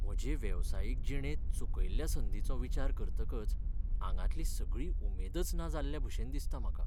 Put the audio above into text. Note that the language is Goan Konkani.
म्हजे वेवसायीक जिणेंत चुकयल्ल्या संदींचो विचार करतकच आंगांतली सगळी उमेदच ना जाल्लेभशेन दिसता म्हाका.